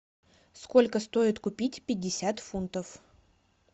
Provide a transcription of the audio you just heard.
сколько стоит купить пятьдесят фунтов